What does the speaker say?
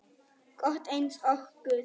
gott eins og guð.